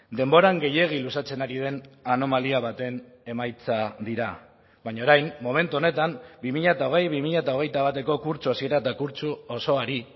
denboran gehiegi luzatzen ari den anomalia baten emaitza dira baina orain momentu honetan bi mila hogei bi mila hogeita bateko kurtso hasiera eta kurtso osoari